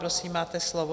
Prosím máte slovo.